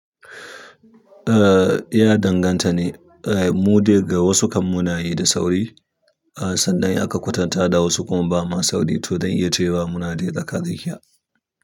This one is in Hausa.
Eh ya danganta ne. Eh mu dai ga wasu kan mu na yi da sauri, ah sannan aka kwatanta da wasu kuma ba ma sauri to don iya cewa muna dai tsaka tsakiya.